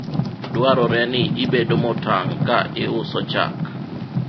dwarore ni ibedo motang' ka iuso chak